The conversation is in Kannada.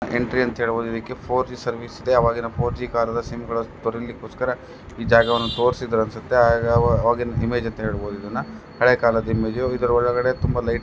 ಎಂಟ್ರಿ ಅಂತ ಹೇಳಬಹುದು ಇದಕ್ಕೆ ಫೋರ್ ಜಿ ಸರ್ವಿಸ್ ಇದೆ. ಆವಾಗಿನ ಫೋರ್ ಜಿ ಸಿಮ್ಮನ ತರೋಲಿಕ್ಕೋಸ್ಕರ ಈ ಜಾಗವನ್ನು ತೋರ್ಸಿದಾರೆ ಅನ್ಸುತ್ತೆ ಆ -- ಅವಾಗಿನ ಇಮೇಜ್ ಅಂತ ಹೇಳಿ ಹೇಳಬಹುದು ಇದನ್ನ. ಹಳೆ ಕಾಲದ ಇಮೇಜ್ ಇದರ ಒಳಗಡೆ ತುಂಬಾ ಲೈಟಿಂ --